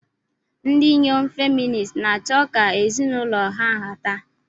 Ndị inyom feministi na-achọ ka ezinụlọ ha nhata.